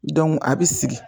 a bi sigi